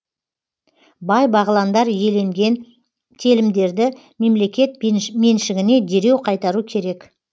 бай бағландар иеленген телімдерді мемлекет меншігіне дереу қайтару керек